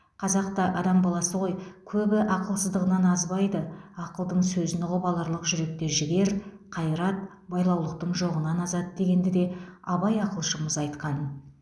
қазақ та адам баласы ғой көбі ақылсыздығынан азбайды ақылдың сөзін ұғып аларлық жүректе жігер қайрат байлаулылықтың жоғынан азады дегенді де абай ақылшымыз айтқан